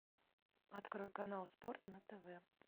открой канал спорт на тв